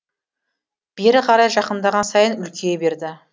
бері қарай жақындаған сайын үлкейе берді